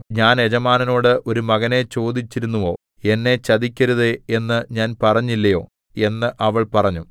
ഞാൻ യജമാനനോട് ഒരു മകനെ ചോദിച്ചിരുന്നുവോ എന്നെ ചതിക്കരുതേ എന്ന് ഞാൻ പറഞ്ഞില്ലയോ എന്ന് അവൾ പറഞ്ഞു